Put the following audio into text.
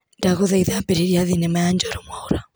Ndagũthaitha ambĩrĩria thinema ya Njoro Mwaũra.